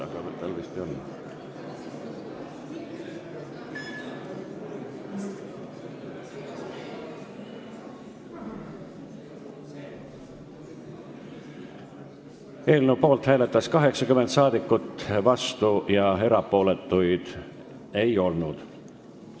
Hääletustulemused Eelnõu poolt hääletas 80 rahvasaadikut, vastuolijaid ega erapooletuid ei olnud.